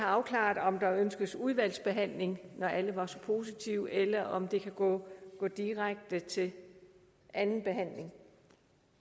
afklaret om der ønskes udvalgsbehandling når alle var så positive eller om det kan gå direkte til anden behandling